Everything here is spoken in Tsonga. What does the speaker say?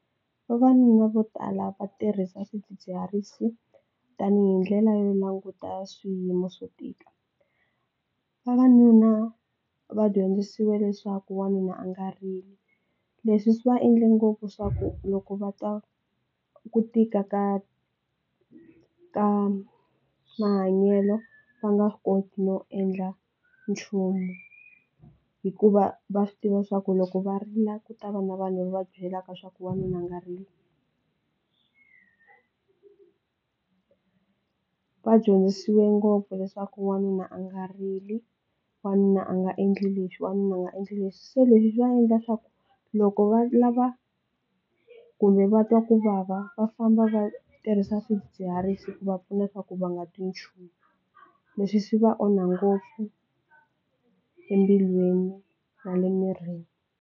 Vavanuna vo tala va tirhisa swidzidziharisi tanihi ndlela yo languta swiyimo swo tika, vavanuna va dyondzisiwe leswaku wanuna a nga rili leswi swi va endle ngopfu swa ku loko va twa ku tika ka ka mahanyelo va nga koti no endla nchumu hikuva va swi tiva swa ku loko va rila ku ta va na vanhu va byelaka swa ku wanuna a nga rili. Va dyondzisiwa ngopfu leswaku wanuna a nga rili wanuna a nga endli leswi wanuna a nga endli leswi se leswi swi va endla leswaku loko va lava kumbe va twa kuvava va famba va tirhisa swidzidziharisi ku va pfunaka ku va nga twi nchumu, leswi swi va onha ngopfu embilwini na le mirini.